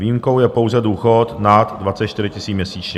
Výjimkou je pouze důchod nad 24 000 měsíčně.